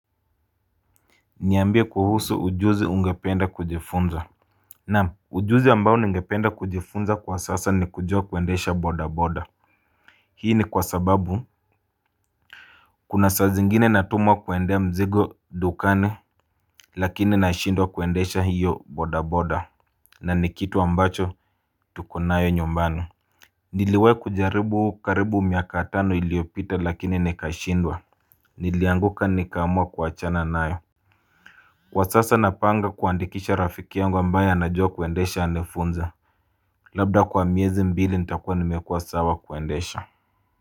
Niambie kuhusu ujuzi ungependa kujifunza. Naam ujuzi ambao ningependa kujifunza kwa sasa ni kujua kuendesha bodaboda. Hii ni kwa sababu Kuna saa zingine natumwa kuendea mzigo dukani Lakini nashindwa kuendesha hiyo bodaboda na ni kitu ambacho tuko nayo nyumbani Niliwai kujaribu karibu miaka tano iliyopita lakini nikashindwa Nilianguka nikaamua kuachana nayo Kwa sasa napanga kuandikisha rafiki yangu ambaye anajua kuendesha anifunze Labda kwa miezi mbili nitakuwa nimekua sawa kuendesha.